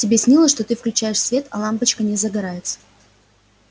тебе снилось что ты включаешь свет а лампочка не загорается